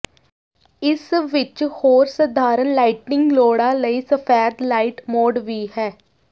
ਇਸ ਵਿੱਚ ਹੋਰ ਸਧਾਰਣ ਲਾਈਟਿੰਗ ਲੋੜਾਂ ਲਈ ਸਫੈਦ ਲਾਈਟ ਮੋਡ ਵੀ ਹੈ